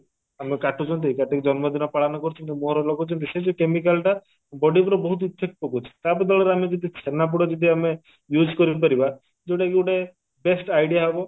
ଆମେ କାଟୁଛନ୍ତି କାଟିକି ଜନ୍ମଦିନ ପାଳନ କରୁଛନ୍ତି ମୁହଁରେ ଲଗଉଛନ୍ତି ସେଇ ଯଉ chemical ଟା body ଉପରେ ବହୁତ effect ପକଉଛି ତା ବଦଳରେ ଆମେ ଯଦି ଛେନାପୋଡ ଯଦି ଆମେ use କରିପାରିବା ଯଉଟାକି ଗୋଟେ best idea ହବ